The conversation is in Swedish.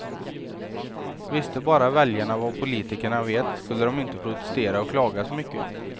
Visste bara väljarna vad politikerna vet skulle de inte protestera och klaga så mycket.